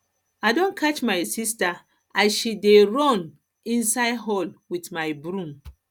i don catch my sister as she dey run um inside hall with my broom